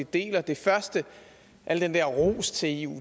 deler det første al den der ros til eu